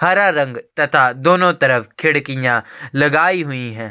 हरा रंग तथा दोनों तरफ खिड़किया लगाईं हुई है।